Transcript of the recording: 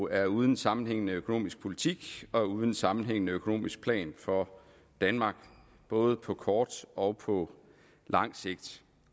er uden en sammenhængende økonomisk politik og uden en sammenhængende økonomisk plan for danmark både på kort og på lang sigt